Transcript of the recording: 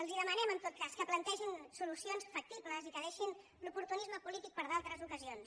els demanem en tot cas que plantegin solucions factibles i que deixin l’oportunisme polític per a d’altres ocasions